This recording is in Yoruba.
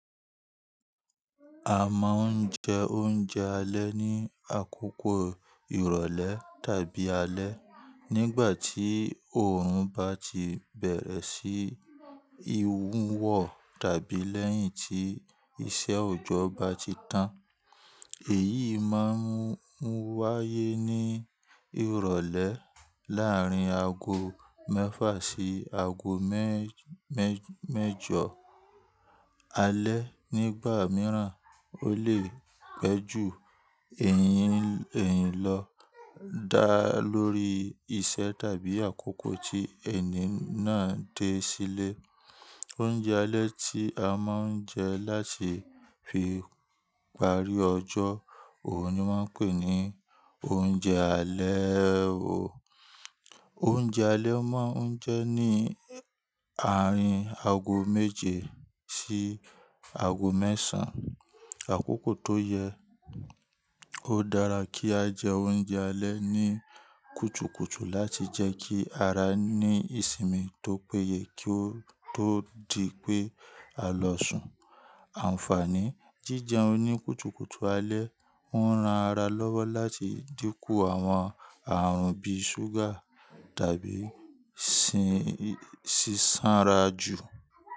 A máa ń jẹ oúnjẹ alẹ́ ní àkókò ìrọ̀lẹ́ tàbí alẹ́ nígbà tí òórùn bá ti bẹ̀rẹ̀ sí i wùwọ̀ tàbí lẹ́yìn tí iṣẹ́ òjò bá ti tán. Èyí máa ń wáyé ní ìrọ̀lẹ́ láàrín aago mẹ́fà sí aago mẹ́-mẹ́jọ alẹ́. Nígbà mìíràn ó lè pẹ́ jù eyín-eyín lọ dá lórí iṣẹ́ tàbí àkókò tí ẹni náà dé sílé. Oúnjẹ alẹ́ tí a máa ń jẹ láti fi parí ọjọ́ òun ni wọ́n pè ní oúnjẹ alẹ́. Oúnjẹ alẹ́ máa ń jẹ́ ní àárín aago méje sí aago mẹ́sàn án. Àkókò tó yẹ, ó dára kí á jẹ oúnjẹ alẹ́ ní kùtùkùtù láti jẹ́ kí ara ní ìsinmi tó péye kí ó tó di pé á lọ sùn. Àǹfààní jíjẹ oún ní kùtùkùtù alẹ́ ń ran ara lọ́wọ́ láti dínkù àwọn ààrùn bíi ṣúgà tàbí ṣíṣánra jù.